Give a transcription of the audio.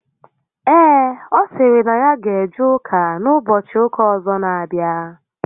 Ee, ọ sịrị na ya ga eje ụka n'ụbọchị ụka ọzọ n'abịa